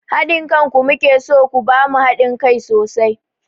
Haɗin kanku mu ke so, ku ba mu haɗin kai sosai!